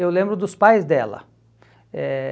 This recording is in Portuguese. Eu lembro dos pais dela. Eh